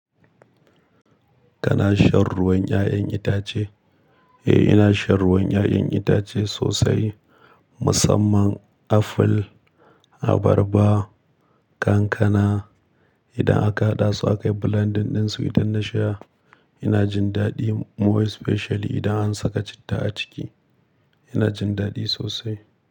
Kana shan ruwan 'ya'yan itace? Eh, ina shan ruwan 'ya'yan itace sosai. Musamman aful, abarba, kankana. Idan aka haɗa su aka yi blending ɗinsu, idan na sha, ina jin daɗi. Mo specially idan an saka citta a ciki, ina jin daɗi sosai.